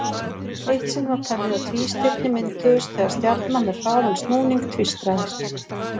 Eitt sinn var talið að tvístirni mynduðust þegar stjarna með hraðan snúning tvístraðist.